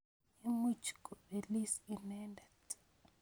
Imuch kopelis inendet